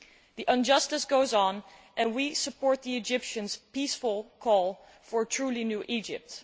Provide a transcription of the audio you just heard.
The injustice goes on and we support the Egyptians' peaceful call for a truly new Egypt.